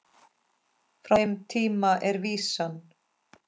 Frá þeim tíma er vísan